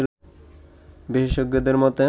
বিশ্ষেজ্ঞদের মতে